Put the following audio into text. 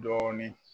Dɔɔnin